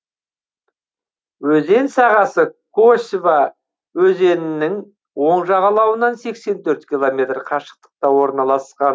өзен сағасы косьва өзенінің оң жағалауынан сексен төрт километр қашықтықта орналасқан